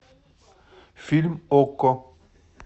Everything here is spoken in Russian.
фильм окко